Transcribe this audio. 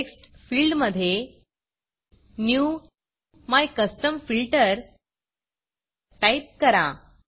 text फिल्डमधे new MyCustomFilter type करा